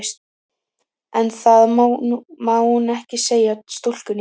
En það má hún ekki segja stúlkunni.